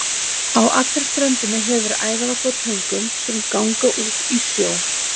Á allri ströndinni hefur verið æðarvarp á töngum, sem ganga út í sjó.